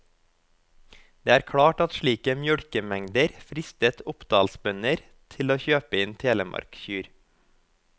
Det er klart at slike mjølkemengder fristet oppdalsbønder til å kjøpe inn telemarkkyr.